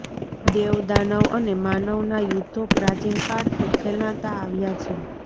દેવ દાનવ અને માનવનાં યુધ્ધો પ્રાચીન કાળથી ખેલાંતા આવ્યા છે